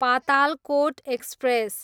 Patalkot express